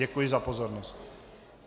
Děkuji za pozornost.